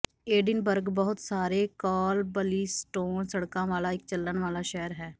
Edinburgh ਬਹੁਤ ਸਾਰੇ cobblestone ਸੜਕਾਂ ਵਾਲਾ ਇਕ ਚੱਲਣ ਵਾਲਾ ਸ਼ਹਿਰ ਹੈ